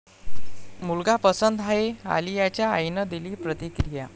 मुलगा पसंत आहे, आलियाच्या आईनं दिली प्रतिक्रिया!